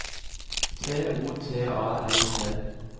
T O T A L T